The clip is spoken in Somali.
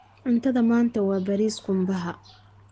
Cuntada maanta waa bariis qumbaha.